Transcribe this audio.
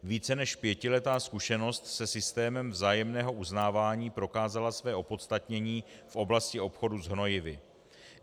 Více než pětiletá zkušenost se systémem vzájemného uznávání prokázala své opodstatnění v oblasti obchodu s hnojivy.